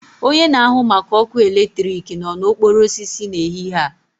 Onye na-ahụ maka ọkụ eletrik nọ na okporo osisi n'ehihie a